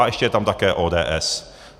A ještě je tam také ODS.